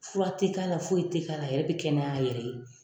Fura tɛ k'a la, foyi tɛ k'a la ,a yɛrɛ bɛ kɛnɛya a yɛrɛ ye.